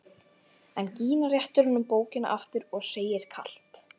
En Gína réttir honum bókina aftur og segir kalt